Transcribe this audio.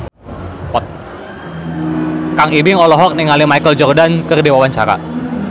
Kang Ibing olohok ningali Michael Jordan keur diwawancara